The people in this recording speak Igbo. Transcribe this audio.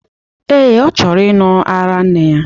Ee, ọ chọrọ ịṅụ ara nne ya.